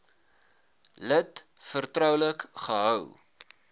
lid vertroulik gehou